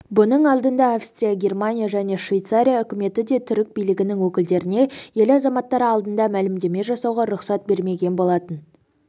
бұның алдында австрия германия және швейцария үкіметі де түрік билігінің өкілдеріне ел азаматтары алдында мәлімдеме жасауға рұқсат бермеген болатын